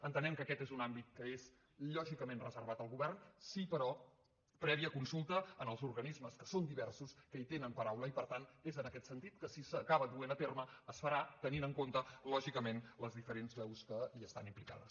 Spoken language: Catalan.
entenem que aquest és un àmbit que és lògicament reservat al govern sí però prèvia consulta als organismes que són diversos que hi tenen paraula i per tant és en aquest sentit que si s’acaba duent a terme es farà tenint en compte lògicament les diferents veus que hi estan implicades